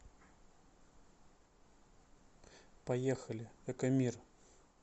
поехали экомир